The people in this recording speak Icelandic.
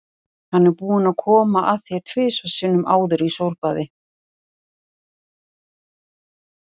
Hann er búinn að koma að þér tvisvar sinnum áður í sólbaði.